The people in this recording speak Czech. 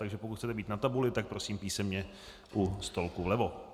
Takže pokud chcete být na tabuli, tak prosím písemně u stolku vlevo.